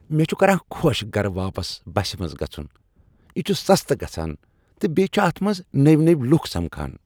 مےٚ چھ کران خۄش گرٕ واپس بسہ منٛز گژھن۔ یہ چھ سستہٕ گژھان تہٕ بیٚیہ چھ اتھ منٛز نٔوۍ نٔوۍ لوٗکھ سمکھان۔